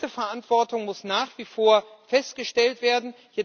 Diese Verantwortung muss nach wie vor festgestellt werden.